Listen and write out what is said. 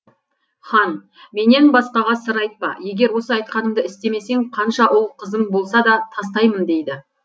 хан менен басқаға сыр айтпа егер осы айтқанымды істемесең қанша ұл қызың болса да тастаймын дейді